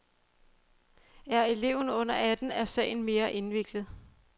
Er eleven under atten er sagen mere indviklet.